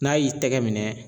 N'a y'i tɛgɛ minɛ.